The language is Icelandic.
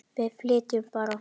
Við flytjum bara!